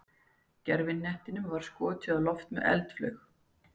gervihnettinum var þá skotið á loft með eldflaug